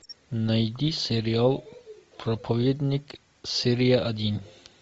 найди сериал проповедник серия один